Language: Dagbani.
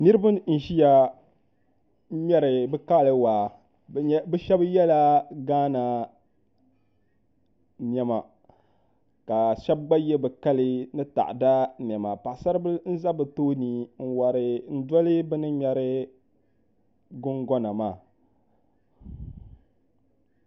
Niraba n ʒiya n wori bi kali waa bi shab yɛla gaana niɛma ka shab gba yɛ bi kali ni taada niɛma paɣasari bili n ʒɛ bi tooni n wori n doli bi ni ŋmɛri gungona maa